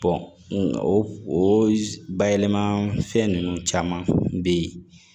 o o bayɛlɛma fɛn ninnu caman bɛ yen